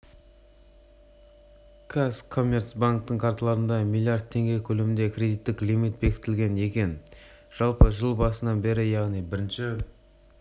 қазкоммерцбанктің карталарына млрд теңге көлемінде кредиттік лимит бекітілген екен жалпы жыл басынан бері яғни бірінші